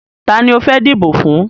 Tani o fẹ́ dìbò fún?